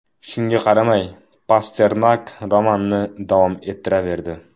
Shunga qaramay, Pasternak romanni davom ettiraverdi.